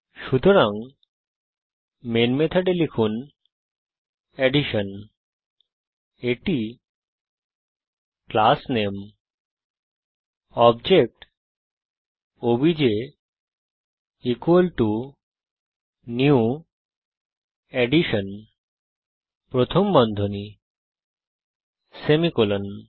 সুতরাং মেন মেথডে লিখুন অ্যাডিশন এটি class name object obj new addition প্রথম বন্ধনী সেমিকোলন